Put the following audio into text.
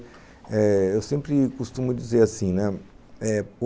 Eh... Eu sempre costumo dizer assim, né? O